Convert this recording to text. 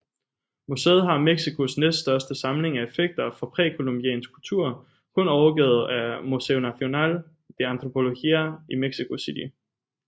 Museet har Mexicos næststørste samling af effekter fra præcolumbiansk kultur kun overgået af Museo Nacional de Antropología i Mexico City